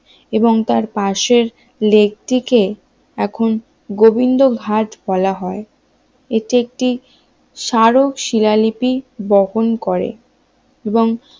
এবং তার পাশের লেকটিকে এখন গোবিন্দ ঘাট বলা হয় এটি একটি স্মারক শিলালিপি বপন করে এবং